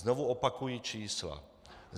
Znovu opakuji čísla.